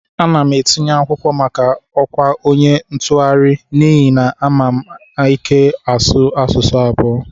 Ana m etinye akwụkwọ maka ọkwa onye ntụgharị n'ihi na ama m ike ịsụ asụsụ abụo